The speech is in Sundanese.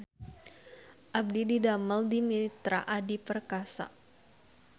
Abdi didamel di Mitra Adi Perkasa